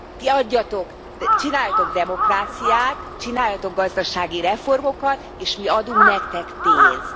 Ti adjatok, csináljatok demokráciát, csináljatok gazdasági reformokat, és mi adunk nektek pénzt.